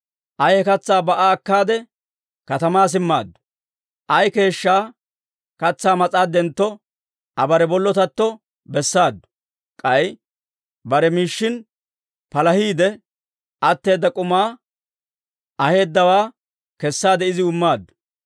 Aa he katsaa ba"a akkaade, katamaa simmaaddu; ay keeshshaa katsaa mas'aaddentto Aa bare bollotatto bessaadu. K'ay bare miishshin palahiide atteedda k'umaa aheedawaa kessaade iziw immaaddu.